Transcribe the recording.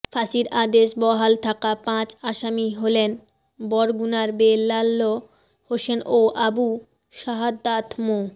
ফাঁসির আদেশ বহাল থাকা পাঁচ আসামি হলেন বরগুনার বেল্লাল হোসেন ও আবু শাহাদাৎ মো